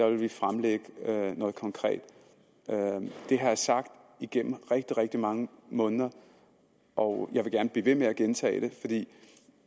vi fremlægge noget konkret det har jeg sagt igennem rigtig rigtig mange måneder og jeg vil gerne blive ved med at gentage det for det